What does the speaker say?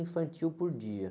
infantil por dia.